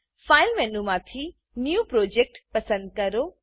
file મેનુમાંથી new project new project પસંદ કરો